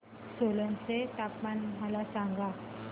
सोलन चे तापमान मला सांगा